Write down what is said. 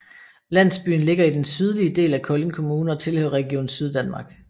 Landsbyen ligger i den sydlige del af Kolding Kommune og tilhører Region Syddanmark